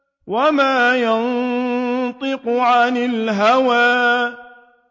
وَمَا يَنطِقُ عَنِ الْهَوَىٰ